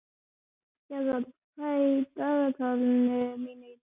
Gerðar, hvað er í dagatalinu mínu í dag?